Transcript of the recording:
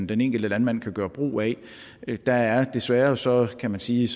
den enkelte landmand kan gøre brug af der er desværre så kan man sige